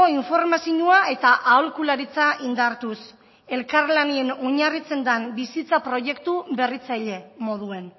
informazioa eta aholkularitza indartuz elkarlanen oinarritzen den bizitza proiektu berritzaile moduan